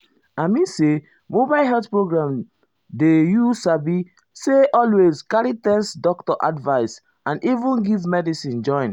i mean say mobile health program dey you sabi say always um carry test doctor advice and even give medicine join.